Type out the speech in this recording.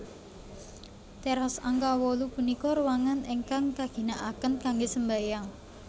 Teras angka wolu punika ruangan ingkang kaginakaken kanggé sembahyang